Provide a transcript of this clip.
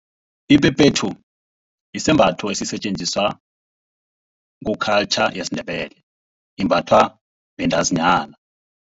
Iphephethu, sisembatho esisetjenziswa ku-culture yesiNdebele. Imbathwa bantazinyana.